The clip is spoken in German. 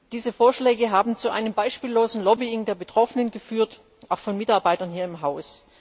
Diese Vorschläge haben zu einem beispiellosen Lobbying der Betroffenen geführt, auch von Mitarbeitern hier im Haus.